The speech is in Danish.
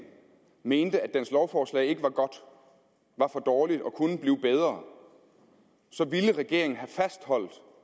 mente at dens lovforslag ikke var godt var for dårligt og kunne blive bedre så ville regeringen have fastholdt